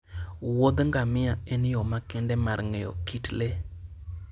wuodh ngamia en yo makende mar ng'eyo kit le.